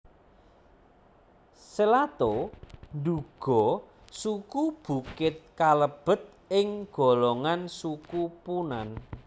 Selato nduga suku Bukit kalebet ing golongan Suku Punan